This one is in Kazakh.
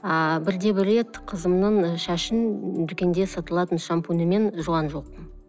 ааа бірде бір рет қызымның шашын дүкенде сатылатын шампуньмен жуған жоқпын